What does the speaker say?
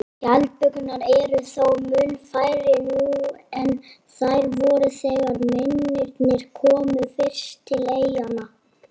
Skjaldbökurnar eru þó mun færri nú en þær voru þegar mennirnir komu fyrst til eyjanna.